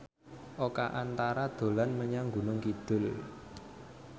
Oka Antara dolan menyang Gunung Kidul